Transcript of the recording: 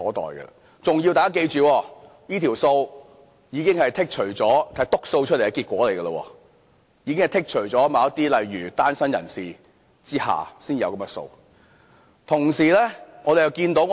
大家要記住，這組數字已經是"篤數"的結果，已經剔除了例如單身人士等的數字。